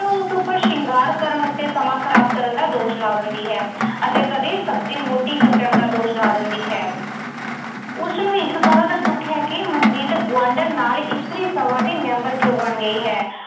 ਉਹ ਉਸ ਉੱਪਰ ਸ਼ਿੰਗਾਰ ਕਰਨ ਉੱਤੇ ਸਮਾਂ ਖ਼ਰਾਬ ਕਰਨ ਦਾ ਦੋਸ਼ ਲਾ ਦਿੰਦੀ ਹੈ ਅਤੇ ਕਦੇ ਸਬਜ਼ੀ ਮੋਟੀ ਕੱਟਣ ਦਾ ਦੋਸ਼ ਲਾ ਦਿੰਦੀ ਹੈ। ਉਸਨੂੰ ਇਸ ਗੱਲ ਦਾ ਦੁੱਖ ਹੈ ਕਿ ਮਨਜੀਤ ਗੁਆਂਢਣ ਨਾਲ ਇਸਤਰੀ ਸਭਾ ਦੀ ਮੈਂਬਰ ਕਿਉਂ ਬਣ ਗਈ ਹੈ।